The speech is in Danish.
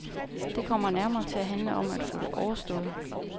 Det kommer nærmere til at handle om at få det overstået.